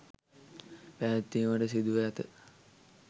පැවැත්වීමට සිදුව ඇත